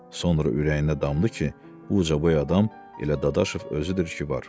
Sonra ürəyində damdı ki, o ucaboy adam elə Dadaşov özüdür ki, var.